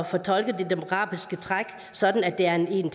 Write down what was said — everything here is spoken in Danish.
fortolke de demografiske træk sådan at der er en